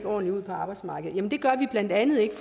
ordentlig ud på arbejdsmarkedet jamen det gør de blandt andet ikke